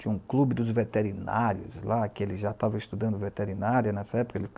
Tinha um clube dos veterinários lá, que ele já estava estudando veterinária nessa época.